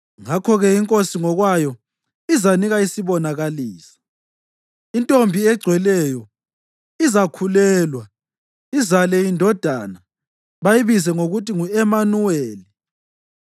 Ngakho-ke iNkosi ngokwayo izanika isibonakaliso: Intombi egcweleyo izakhulelwa izale indodana bayibize ngokuthi ngu-Emanuweli.